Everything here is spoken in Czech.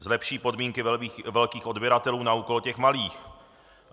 Zlepší podmínky velkých odběratelů na úkor těch malých.